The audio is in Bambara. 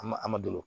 A ma a ma bolo